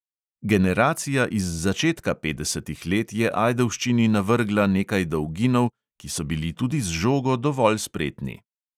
Generacija iz začetka petdesetih let je ajdovščini navrgla nekaj dolginov, ki so bili tudi z žogo dovolj spretni.